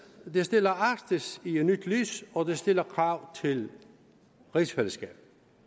det stiller arktis i et nyt lys og det stiller krav til rigsfællesskabet